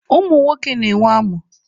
Ụmụ nwoke na-enwe amụ.